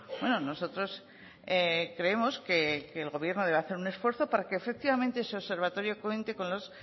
bueno nosotros creemos que el gobierno debe hacer un esfuerzo para que efectivamente ese observatorio cuente con los